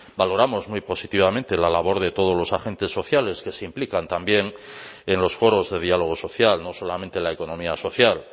valoramos muy positivamente la labor de todos los agentes sociales que se implican también en los foros de diálogo social no solamente la economía social